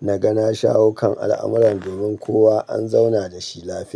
na ga na shaho kan al'amuran domin kowa an zauna dashi lafiya.